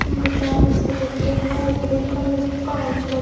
vitamins के डिब्बे हैं क्रीम का --